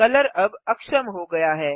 colour अब अक्षम हो गया है